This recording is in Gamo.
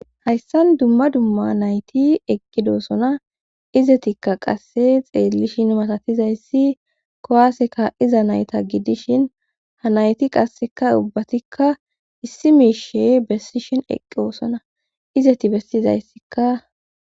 Hayssan dumma dumma nayti eqqidosona izetikka qasse xeellishin matatizayssi kowaseka iza nayta giddishin ha nayti qasseka ubbatikka issi miishe bessishin eqqosona izeti bessizayssika.